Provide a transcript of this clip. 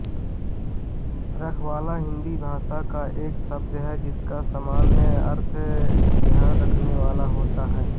रखवाला हिन्दी भाषा का एक शब्द है जिसका सामान्य अर्थ ध्यान रखने वाला होता है